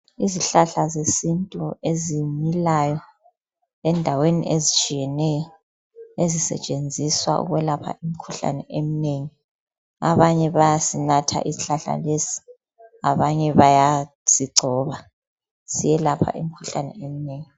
Izihlahla zesintu ezimilayo endaweni ezitshiyeneyo ezisetshenziswa ukwelapha imikhuhlane eminengi abanye bayasinatha isihlahla lesi abanye bayasigcoba siyelapha imikhuhlane eminengi.